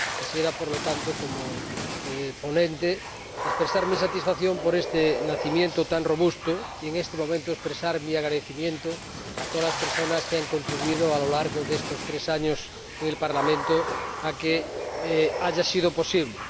Quisiera, por lo tanto, como ponente, expresar mi satisfacción por este nacimiento tan robusto y, en este momento, expresar mi agradecimiento a todas las personas que han contribuido —a lo largo de estos tres años, en el Parlamento— a que haya sido posible.